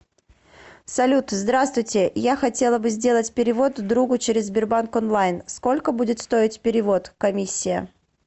салют здравствуйте я хотела бы сделать перевод другу через сбербанк онлайн сколько будет стоить перевод комиссия